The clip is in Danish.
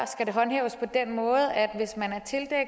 skal det håndhæves på den måde at hvis man